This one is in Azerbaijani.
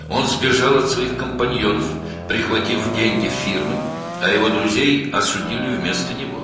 O, şirkətin pulunu götürərək öz yoldaşlarından qaçmışdı, onun dostları isə onun yerinə məhkum edilmişdilər.